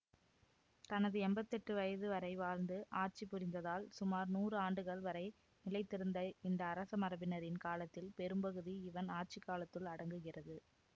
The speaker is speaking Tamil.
தனது எம்பத்தி எட்டு வயது வரை வாழ்ந்து ஆட்சி புரிந்ததால் சுமார் நூறு ஆண்டுகள் வரை நிலைத்திருந்த இந்த அரச மரபினரின் காலத்தில் பெரும்பகுதி இவன் ஆட்சிக்காலத்துள் அடங்குகிறது